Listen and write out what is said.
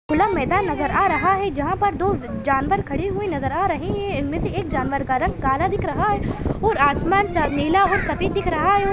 खुला मैदान नज़र आ रहा है जहाँ पर दो जानवर खड़े हुए नज़र आ रहे है उनमे से एक जानवर का रंग काला दिख रहा है और आसमान सा नीला और सफ़ेद दिख रहा है। और --